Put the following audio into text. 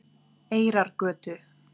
Eyrargötu